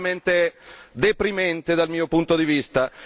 E questo è veramente deprimente dal mio punto di vista.